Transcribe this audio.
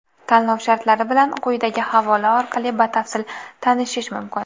Tanlov shartlari bilan quyidagi havola orqali batafsil tanishish mumkin.